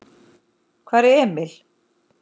Hvar er Emil?